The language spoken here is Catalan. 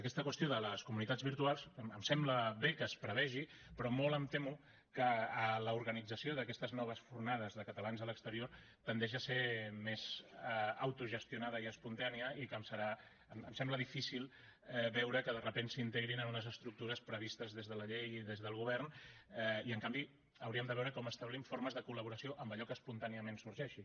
aquesta qüestió de les comunitats virtuals em sembla bé que es prevegi però molt em temo que l’organització d’aquestes noves fornades de catalans a l’exterior tendeix a ser més autogestionada i espontània i em sembla difícil veure que de sobte s’integrin en unes estructures previstes des de la llei i des del govern i en canvi hauríem de veure com establim formes de col·laboració amb allò que espontàniament sorgeixi